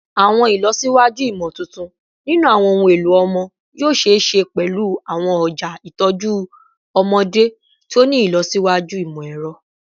Awọn ilọsiwaju imotuntun ninu awọn ohun elo ọmọ yoo ṣee ṣe pẹlu awọn ọja itọju ọmọde ti o ni ilọsiwaju imọ-ẹrọ